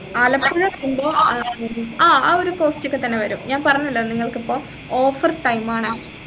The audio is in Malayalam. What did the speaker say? ആലപ്പുഴ ഉണ്ടോ ആഹ് ആ ഒരു cost ഒക്കെത്തന്നെ വരും ഞാൻ പറഞ്ഞല്ലോ നിങ്ങൾക്കിപ്പോ offer time ആണ്